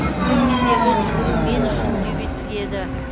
куньминдегі жүгіру мен үшін дебюттік еді